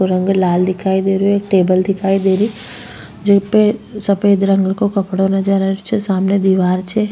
रंग लाल दिखाई देहि एक टेबल दिखाई दे री छ जीपे सफ़ेद रंग को कपड़ो नजर आ रही छे सामने दिवार छे।